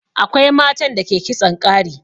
Akwai matan da ke kitson ƙari.